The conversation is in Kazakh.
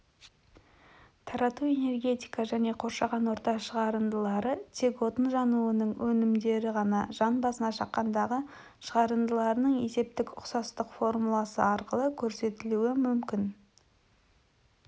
тарау энергетика және қоршаған орта шығарындылары тек отын жануының өнімдері ғана жан басына шаққандағы шығарындылары есептік ұқсастық формуласы арқылы көрсетілуі мүмкін